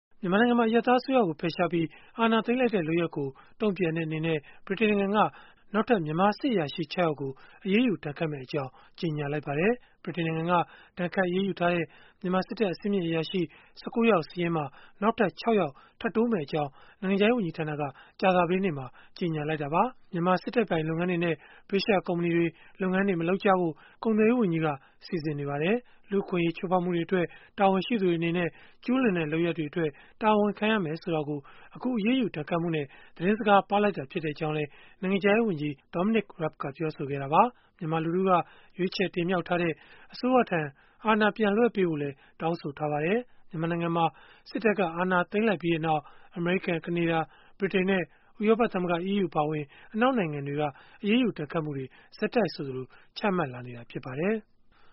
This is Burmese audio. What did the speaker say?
မြန်မာနိုင်ငံမှာ အရပ်သားအစိုးရကို ဖယ်ရှားပြီး အာဏာသိမ်းလိုက်တဲ့ လုပ်ရပ်ကို တုံ့ပြန်တဲ့အနေနဲ့ ဗြိတိန်နိုင်ငံက နောက်ထပ် မြန်မာစစ်အရာရှိ ၆ ယောက်ကို အရေးယူ ဒဏ်ခတ်မယ့်အကြောင်း ကြေညာလိုက်ပါတယ်။ ဗြိတိန်နိုင်ငံက ဒဏ်ခတ်အရေးယူထားတဲ့ မြန်မာစစ်တပ် အဆင့်မြင့် အရာရှိ ၁၉ ယောက် စာရင်းမှာ နောက်ထပ် ၆ ယောက် ထပ်တိုးမယ့်အကြောင်း နိုင်ငံခြားရေး ဝန်ကြီးဌာနက ကြာသပတေးနေ့မှာပဲ ကြေညာလိုက်တာပါ။ မြန်မာစစ်တပ်ပိုင် လုပ်ငန်းတွေနဲ့ ဗြိတိသျှကုမ္ပဏီတွေ လုပ်ငန်းမလုပ်ကြဖို့ ကုန်သွယ်ရေးဝန်ကြီးက စီစဉ်နေတယ်လို့လည်း ပြောပါတယ်။ လူ့အခွင့်အရေး ချိုးဖောက်မှုတွေအတွက် တာဝန်ရှိသူတွေ အနေနဲ့ ကျုးလွန်တဲ့လုပ်ရပ်အတွက် တာဝန်ခံရမယ်ဆိုတာကို အခုအရေးယူ ဒဏ်ခတ်မှုနဲ့ သတင်းစကား ပါးလိုက်ကြောင်းလည်း နိုင်ငံခြားရေးဝန်ကြီး Dominic Raab ကပြောဆိုခဲ့တာပါ။ မြန်မာလူထုက ရွေးချယ်တင်မြှောက်ထားတဲ့ အစိုးရထံ အာဏာပြန်လွှဲပေးဖို့လည်း တောင်းဆိုထားပါတယ်။ မြန်မာနိုင်ငံမှာ စစ်တပ်က အာဏာသိမ်းလိုက်ပြီးနောက် အမေရိကန်၊ ကနေဒါ၊ ဗြိတိန်နဲ့ ဥရောပသမဂ္ဂ (EU) အပါအဝင် အနောက်နိုင်ငံတွေက အရေးယူ ဒဏ်ခတ်မှုတွေ ဆက်တိုက်ဆိုသလို ချမှတ်လာနေတာ ဖြစ်ပါတယ်။